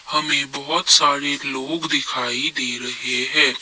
हमें बहुत सारे लोग दिखाई दे रहे है।